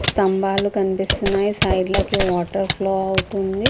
స్థంబాలు కనిపిస్తున్నాయి సైడ్ కి water flow అవుతుంది.